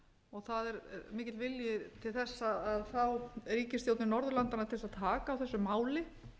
og það er mikill vilji til þess að fá ríkisstjórnir norðurlanda til þess að taka á þessu máli